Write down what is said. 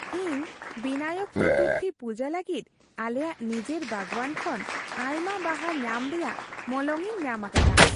ᱤᱧ ᱵᱤᱱᱟᱭᱚᱠ ᱪᱚᱛᱩᱨᱛᱷᱤ ᱯᱩᱡᱟᱹ ᱞᱟᱹᱜᱤᱫ ᱟᱞᱮᱭᱟᱜ ᱱᱤᱡᱮᱨ ᱵᱟᱜᱣᱟᱱ ᱠᱷᱚᱱ ᱟᱭᱢᱟ ᱵᱟᱦᱟ ᱧᱟᱢ ᱨᱮᱭᱟᱜ ᱢᱚᱞᱚᱝ ᱤᱧ ᱧᱟᱢ ᱟᱠᱟᱫᱟ ᱾